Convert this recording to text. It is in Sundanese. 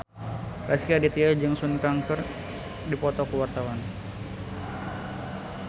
Rezky Aditya jeung Sun Kang keur dipoto ku wartawan